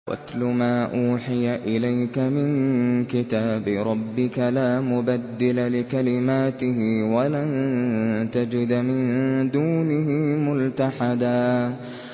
وَاتْلُ مَا أُوحِيَ إِلَيْكَ مِن كِتَابِ رَبِّكَ ۖ لَا مُبَدِّلَ لِكَلِمَاتِهِ وَلَن تَجِدَ مِن دُونِهِ مُلْتَحَدًا